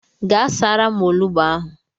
Gaa saara m onugbu ahụ.